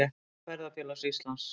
Árbók Ferðafélags Íslands.